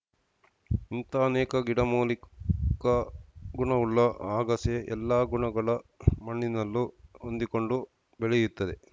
ಇಂಥ ಅನೇಕ ಗಿಡಮೂಲಿಕಾ ಗುಣವುಳ್ಳ ಅಗಸೆ ಎಲ್ಲ ಗುಣಗಳ ಮಣ್ಣಿನಲ್ಲೂ ಹೊಂದಿಕೊಂಡು ಬೆಳೆಯುತ್ತದೆ